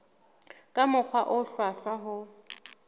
ka mokgwa o hlwahlwa ho